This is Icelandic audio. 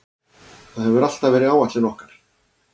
Það hefur alltaf verið áætlun okkar.